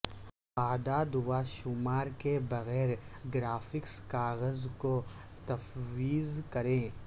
اعداد و شمار کے بغیر گرافکس کاغذ کو تفویض کریں